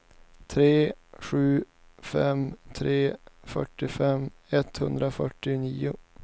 tre sju fem tre fyrtiofem etthundrafyrtionio